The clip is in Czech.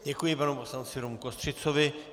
Děkuji panu poslanci Romu Kostřicovi.